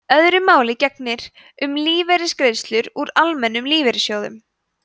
öðru máli gegnir um lífeyrisgreiðslur úr almennum lífeyrissjóðum